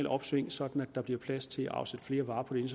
opsving sådan at der bliver plads til at afsætte flere varer på de